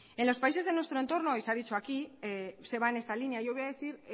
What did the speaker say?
en los países de nuestro entorno y se ha dicho aquí se va en esta línea yo